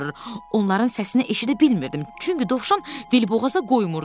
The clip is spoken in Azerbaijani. Onların səsini eşidə bilmirdim, çünki Dovşan dilboğaza qoymurdu.